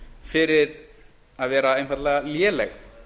fyrir að vera einfaldlega léleg